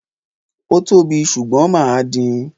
Ó tóbi, ṣùgbọ́n mà á din.